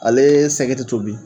Ale ye sɛgɛ tɛ tobi